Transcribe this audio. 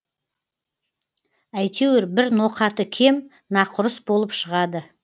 әйтеуір бір ноқаты кем нақұрыс болып шығады